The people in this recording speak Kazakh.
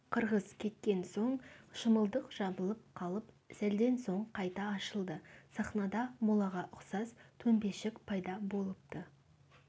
қырғыз кеткен соң шымылдық жабылып қалып сәлден соң қайта ашылды сахнада молаға ұқсас төмпешік пайда болыпты